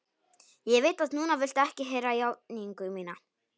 Ég veit að núna viltu ekki heyra játningu mína.